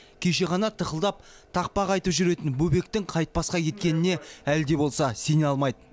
кеше ғана тықылдап тақпақ айтып жүретін бөбектің қайтпасқа кеткеніне әлі де болса сене алмайды